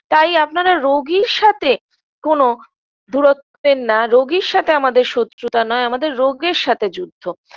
তাই আপনারা রোগীর সাথে কোন দুরতবেন না রোগীর সাথে আমাদের শত্রুতা নয় আমাদের রোগের সাথে যুদ্ধ